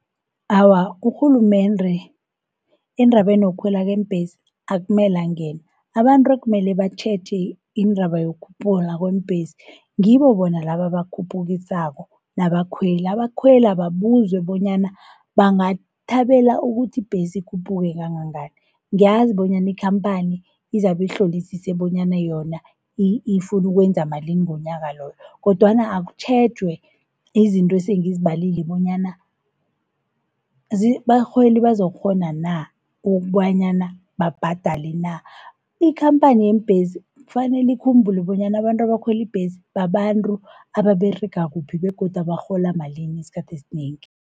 Awa urhulumendre endrabeni yokukhwela kweembhesi akumela angene. Abantru ekumele batjheje indaba iyokhuphula kweembhesi ngibo bona laba abakhuphukisako nabakhweli. Abakhwele ababuzwe bonyana bangathabela ukuthi ibhesi ikhuphuke kangangani. Ngiyazi bonyana ikhamphani izabi ihlolisise bonyana yona ifunu ukwenza malini ngonyaka loyo, kodwana akutjhejwe izinto esengizibalile bonyana abarholi bazokukghona na, wokobanyana babhadale na. Ikhamphani yeembhesi kufanele ikhumbule bonyana abantu abakhweli ibhesi babantru ababerega kuphi, begodu abarhola malini, isikhathi esinengi.